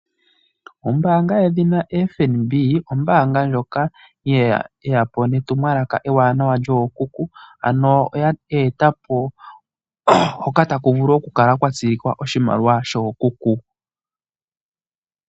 Ombanga yedhina FNB,ombanga ndyoka yeya po netumwalaka ewanawa lyookuku, ano oye etapo haka taku vulu oku kala kwa tsilikwa oshimaliwa shookuku.